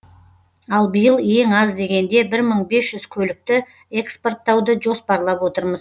ал биыл ең аз дегенде бір мың бес жүз көлікті экспорттауды жоспарлап отырмыз